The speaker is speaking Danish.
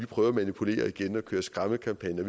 prøver at manipulere og køre skræmmekampagner